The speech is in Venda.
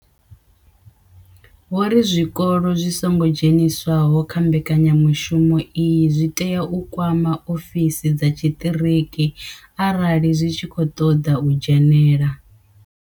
Vho ri zwikolo zwi songo dzheniswaho kha mbekanyamushumo iyi zwi tea u kwama ofisi dza tshiṱiriki arali zwi tshi khou ṱoḓa u dzhenela.